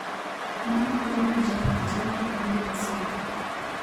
Mano emomiyo japith jamni ok nind asika